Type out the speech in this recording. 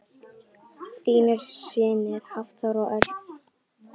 Þínir synir Hafþór og Örn.